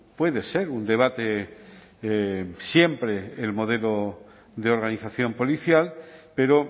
puede ser un debate siempre el modelo de organización policial pero